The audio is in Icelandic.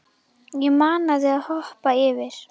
Ég mana þig að hoppa yfir.